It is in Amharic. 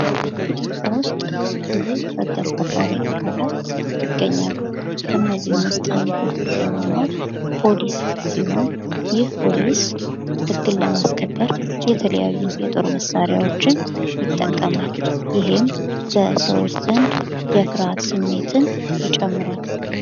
ኢትዮጵያ ውስጥ ብዙ ህግ አስከባሪ አካላት ይገኛሉ። ከነዚህም ውስጥ አንዱ የሆነው ፖሊስ ሲሆን ይህ ፖሊስ ህግን ለማስከበር የተለያዩ የጦር መሳሪያዎችን የጠቀማል። ይህም በሰዎች ዘንድ የፍርሃት ስሜትን ይጨምራል።